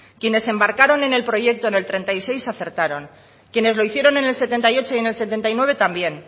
quienes se embarcaron en el proyecto en el treinta y seis acertaron quienes lo hicieron en el setenta y ocho y en el setenta y nueve también